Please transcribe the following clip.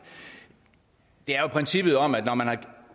det er jo princippet om at når man har